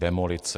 Demolice.